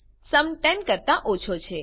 sum 10 કરતા ઓછો છે